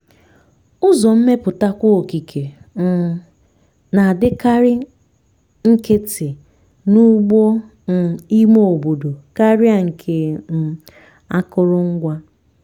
ụzọ mmeputakwa okike um na-adịkarị nkịtị n'ugbo um ime obodo karịa nke um akụrụngwa.